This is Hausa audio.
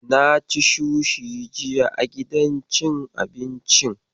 Na ci sushi jiya a gidan cin abincin.